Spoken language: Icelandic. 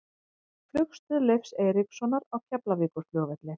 Flugstöð Leifs Eiríkssonar á Keflavíkurflugvelli.